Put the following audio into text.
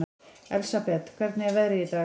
Elsabet, hvernig er veðrið í dag?